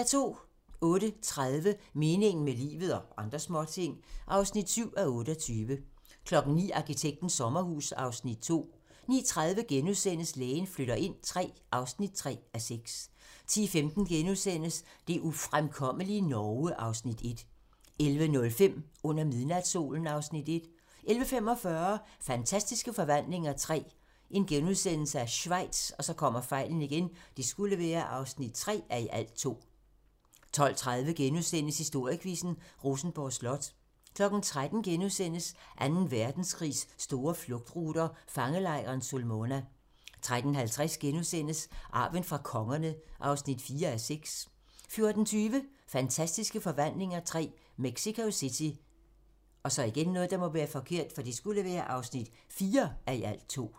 08:30: Meningen med livet - og andre småting (7:28) 09:00: Arkitektens sommerhus (Afs. 2) 09:30: Lægen flytter ind III (3:6)* 10:15: Det ufremkommelige Norge (Afs. 1)* 11:05: Under midnatssolen (Afs. 1) 11:45: Fantastiske Forvandlinger III - Schweiz (3:2)* 12:30: Historiequizzen: Rosenborg Slot * 13:00: Anden Verdenskrigs store flugtruter - fangelejren Sulmona * 13:50: Arven fra kongerne (4:6)* 14:20: Fantastiske Forvandlinger III - Mexico City (4:2)